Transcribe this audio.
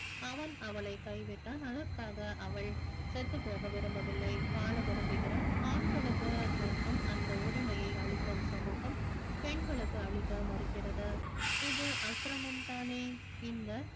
அவன் அவளைக் கைவிட்டான் அதற்காக அவள் செத்து போக விரும்பவில்லை வாழ விரும்புகிறாள் ஆண்களுக்கு மட்டும் அந்த உரிமையை அளிக்கும் சமூகம் பெண்களுக்கு அளிக்க மறுக்கிறது இது அக்கிரமம்தானே இந்த